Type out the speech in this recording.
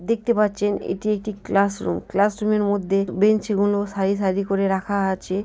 দেখতে পাচ্ছেন এটি একটি ক্লাস রুম । ক্লাস রুম -এর মধ্যে বেঞ্চ গুলো সারি সারি করে রাখা আছে ।